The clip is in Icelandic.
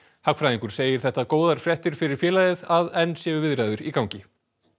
hagfræðingur segir það góðar fréttir fyrir félagið að enn séu viðræður í gangi